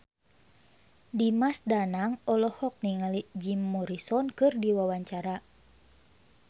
Dimas Danang olohok ningali Jim Morrison keur diwawancara